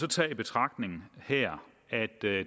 tager i betragtning at det